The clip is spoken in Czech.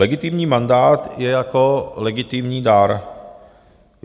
Legitimní mandát je jako legitimní dar.